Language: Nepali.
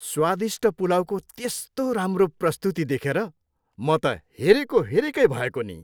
स्वादिष्ट पुलाउको त्यस्तो राम्रो प्रस्तुति देखेर म त हेरेको हेरेकै भएको नि।